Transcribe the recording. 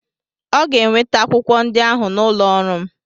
Ọ ga-eweta akwụkwọ ndị ahụ n'ụlọ ọrụ m.